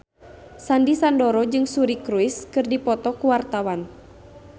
Sandy Sandoro jeung Suri Cruise keur dipoto ku wartawan